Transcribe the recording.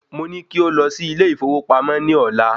Mo ní kí ó lọ sí ilé ìfowópamọ́ ní ọ̀la